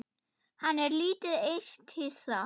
Hann er lítið eitt hissa.